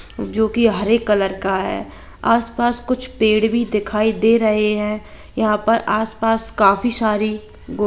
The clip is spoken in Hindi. जो की हरे कलर का है आस पास कुछ पेड़ भी दिखाई दे रहे है यहा पर आस पास काफी सारी गो--